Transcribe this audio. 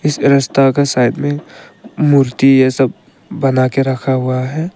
इस रस्ता का साइड में मूर्ति ये सब बना के रखा हुआ है।